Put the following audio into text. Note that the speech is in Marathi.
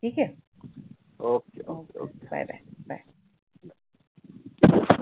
ठिक आहे, OK OKOK BYE BYE BYE